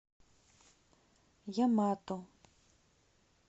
ямато